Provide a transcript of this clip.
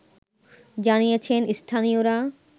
জানিয়েছেন স্থানীয়রা